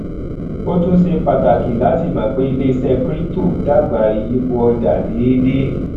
ó tún ṣe pàtàkì láti mọ pé iléiṣẹ crypto dàgbà ìyípò ọjà déédé